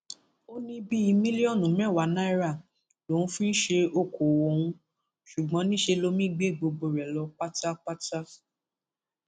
ó ní bíi mílíọnù mẹwàá náírà lòun fi ń ṣe okòòwò òun ṣùgbọn níṣẹ lomi gbé gbogbo rẹ lọ pátápátá